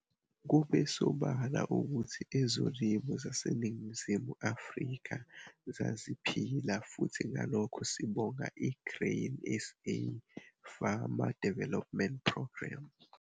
Kube sobala ukuthi ezolimo zaseNingizimu Afrika zaziphila futhi ngalokho sibonga i-Grain SA Farmer Development Programme.